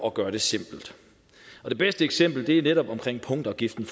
at gøre det simpelt det bedste eksempel er netop punktafgiften